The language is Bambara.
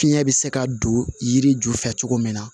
Fiɲɛ bɛ se ka don yiri ju fɛ cogo min na